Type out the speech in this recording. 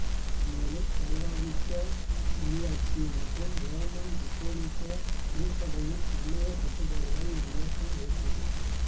மேலும் சர்வாதிகார முடியாட்சி மற்றும் ரோமன் கத்தோலிக்கத் திருச்சபையின் சமயக் கட்டுப்பாடுகளை இவ்வியக்கம் எதிர்த்தது